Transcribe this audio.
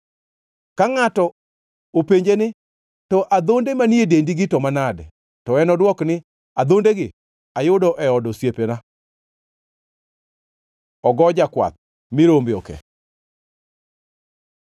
Ka ngʼato openje ni, ‘To adhonde manie dendigi to manade?’ To enodwok ni, ‘Adhondegi ayudo e od osiepena.’ ” Ogo jakwath mi rombe oke